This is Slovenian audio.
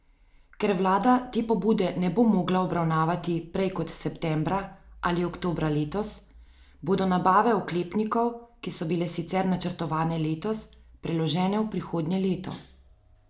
Ker vlada te pobude ne bo mogla obravnavati prej kot septembra ali oktobra letos, bodo nabave oklepnikov, ki so bile sicer načrtovane letos, preložene v prihodnje leto.